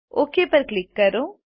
okay પર click કરો